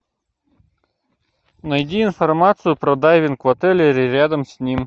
найди информацию про дайвинг в отеле или рядом с ним